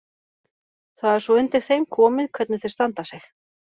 Það er svo undir þeim komið hvernig þeir standa sig.